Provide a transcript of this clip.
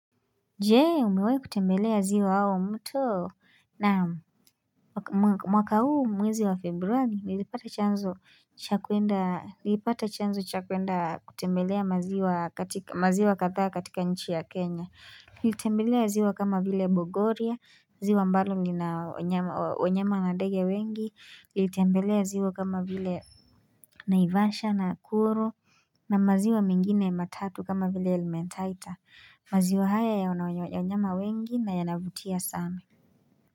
Jee umewai kutembelea ziwa au mto naam mwaka huu mwezi wa februari nilipata chanzo cha kwenda kutembelea maziwa katha katika nchi ya kenya nilitembelea ziwa kama vile Bogoria, ziwa ambalo lina wanyama na ndege wengi, nilitembelea ziwa kama vile naivasha nakuru na maziwa mengine matatu kama vile elementaita, maziwa haya yana wanyama wengi na yanavutia sana.